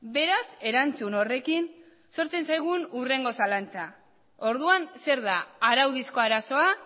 beraz erantzun horrekin sortzen zaigu hurrengo zalantza orduan zer da araudizko arazoa